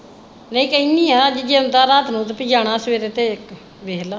ਨਹੀਂ ਕਹਿੰਦੀ ਹੈ ਅੱਜ ਜੇ ਆਉਂਦਾ ਰਾਤ ਨੂੰ ਪੀ ਤੂੰ ਜਾਣਾ ਸਵੇਰੇ ਤੇ ਵੇਖਲੇ।